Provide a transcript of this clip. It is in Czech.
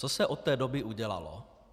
Co se od té doby udělalo?